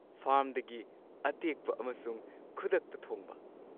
ꯐꯥꯔꯝꯗꯒꯤ ꯑꯇꯦꯛꯄ ꯑꯃꯁꯨꯡ ꯈꯨꯗꯛꯇ ꯊꯣꯡꯕ꯫